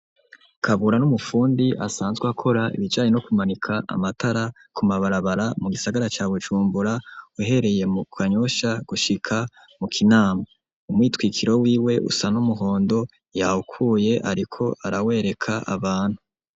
Kabura n'umufundi asanzwe akora ibijanye no kumanika amatara ku mabarabara mu gisagara ca Bujumbura uhereye mu Kanyosha gushika mu Kinama. Umwitwikiro wiwe usa n'umuhondo yawukuye ariko arawereka abantu.